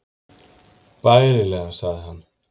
Bærilega sagði hann.